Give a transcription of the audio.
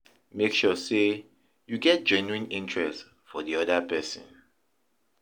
Make sure sey you get genuine interest for di oda person